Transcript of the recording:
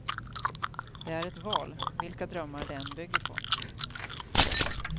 Det är ett val, vilka drömmar det än bygger på.